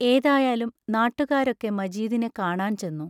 ഏതായാലും നാട്ടുകാരൊക്കെ മജീദിനെ കാണാൻ ചെന്നു.